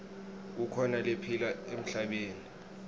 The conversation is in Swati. kukhona lephila emhlabeni